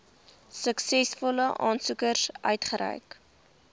suksesvolle aansoekers uitgereik